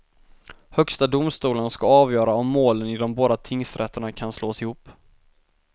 Högsta domstolen ska avgöra om målen i de båda tingsrätterna kan slås ihop.